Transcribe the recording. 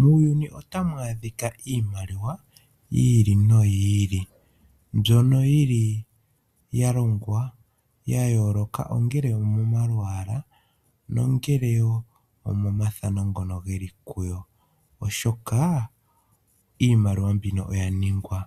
Muuyuni otamu adhika iimaliwa yi ili noyi ili mbyono ya longwa ya yooloka, ongele omomalwaala nenge komafano ngoka ge li ko, oshoka iimaliwa mbika oya ningwa